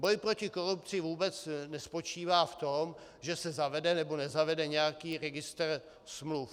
Boj proti korupci vůbec nespočívá v tom, že se zavede nebo nezavede nějaký registr smluv.